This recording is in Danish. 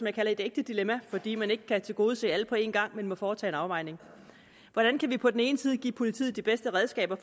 et ægte dilemma fordi man ikke kan tilgodese alle på en gang men må foretage en afvejning hvordan kan vi på den ene side give politiet de bedste redskaber